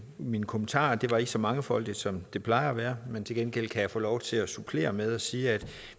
mine kommentarer det var ikke så mangefoldigt som det plejer at være men til gengæld kan jeg få lov til at supplere med at sige at